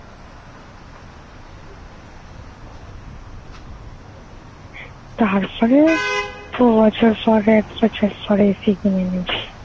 তারপরে দু বছর পর একটা চট করে AC কিনে নিবি ।